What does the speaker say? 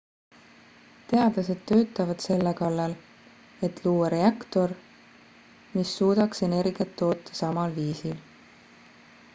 teadlased töötavad selle kallal et luua reaktor mis suudaks energiat toota samal viisil